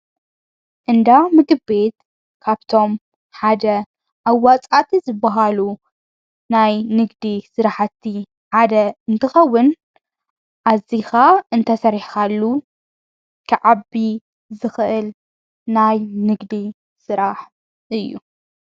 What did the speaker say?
እንዳ ምግቤት ካብቶም ሓደ ኣዋፃቲ ዝብሃሉ ናይ ንግዲ ሥረሕቲ ሓደ እንትኸውን ኣዚኻ እንተሠሪኻሉ ኽዓቢ ዘኽእል ናይ ንግዲ ሥራሕ እዩ።